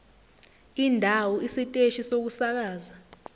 indawo isiteshi sokusakaza